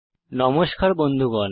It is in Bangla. নমস্কার বন্ধুগণ